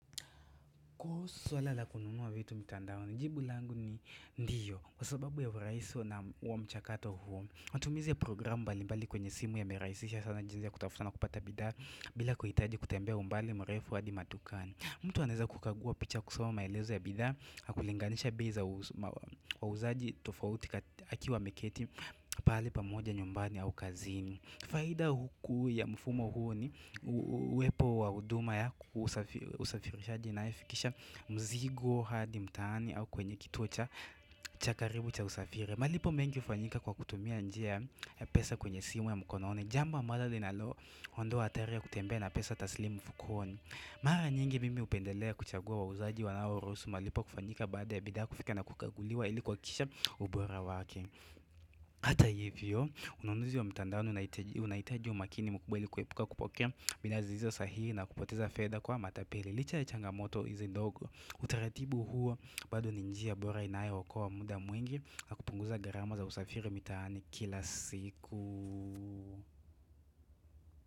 Kuhusu swala la kununua vitu mtandaoni jibu langu ni ndio Kwa sababu ya urahisi na huo mchakato matumizi ya programu mbalimbali kwenye simu yamerahisisha sana jinsi ya kutafuta na kupata bidhaa bila kuhitaji kutembea umbali mrefu hadi madukani mtu anaweza kukagua picha kusoma maelezo ya bidhaa na kulinganisha bei za wauzaji tofauti akiwa ameketi pahali pamoja nyumbani au kazini. Faida kuu ya mfumo huo ni uwepo wa huduma ya usafirishaji inayofikisha mzigo hadi mtaani au kwenye kituo cha karibu cha usafiri malipo mengi hufanyika kwa kutumia njia ya pesa kwenye simu ya mkononi Jambo ambalo linaloondoa hatari ya kutembea na pesa taslimu mfukoni Mara nyingi mimi hupendelea kuchagua wauzaji wanao rushusu malipo kufanyika baada ya bidhaa kufika na kukaguliwa ili kuhakikisha ubora wake. Hata hivyo, ununuzi wa mtandaoni unahitaji umakini mkubwa ili kuepuka kupokea bidhaa zisizo sahihi na kupoteza fedha kwa matapeli. Licha ya changamoto hizi ndogo, utaratibu huo bado ni njia bora inayookoa muda mwingi na kupunguza gharama za usafiri mitaani kila siku.